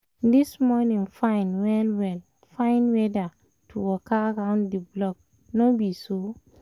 this morning fine well well — fine weather to waka round the block no be so?